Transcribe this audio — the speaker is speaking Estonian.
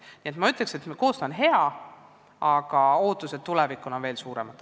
Nii et ma ütleksin, et koostöö on hea, aga ootused, mis hakkab toimuma tulevikus, on veel suuremad.